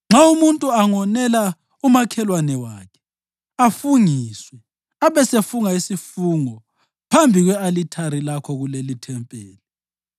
Nxa umuntu angonela umakhelwane wakhe, afungiswe, abesefunga isifungo phambi kwe-alithari lakho kulelithempeli,